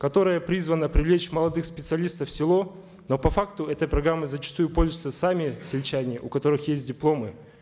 которая призвана привлечь молодых специалистов в село но по факту этой программой зачастую пользуются сами сельчане у которых есть дипломы